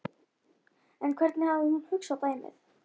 En hvernig hafði hún hugsað dæmið?